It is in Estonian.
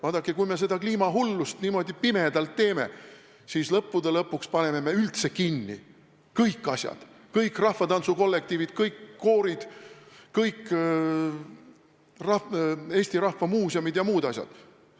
Vaadake, kui me niimoodi pimedalt kliimahullusesse langeme, siis lõppude lõpuks paneme üldse kinni kõik asjad – kõik rahvatantsukollektiivid, kõik koorid, kõik Eesti muuseumid ja muud asjad.